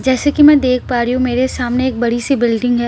जैसे की मैं देख पा रही हूँ मेरे सामने एक बड़ी सी बिल्डिंग है--